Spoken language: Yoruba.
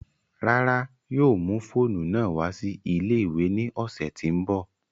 Rárá, yóò mu foonu naa wa si ile-iwe ni ọsẹ ti n bọ